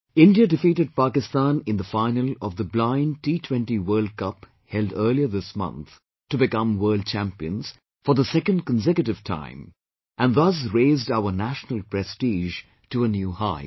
India defeated Pakistan in the final of the Blind T20 World Cup held earlier this month to become World Champions for the second consecutive time and thus raised our national prestige to a new height